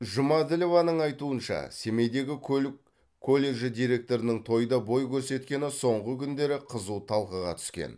жұмаділованың айтуынша семейдегі көлік колледжі директорының тойда бой көрсеткені соңғы күндері қызу талқыға түскен